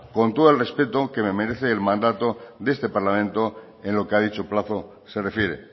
con todo el respeto que me merece el mandato de este parlamento en lo que ha dicho plazo se refiere